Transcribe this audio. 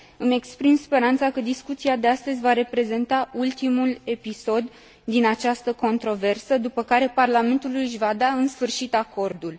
Îmi exprim speranța că discuția de astăzi va reprezenta ultimul episod din această controversă, după care Parlamentul își va da, în sfârșit, acordul.